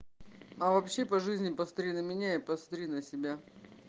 а вообще по жизни посмотри на меня и посмотри на себя